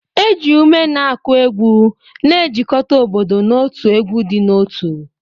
Eji ume na-akụ egwu, na-ejikọta obodo n'otu egwu dị n'otu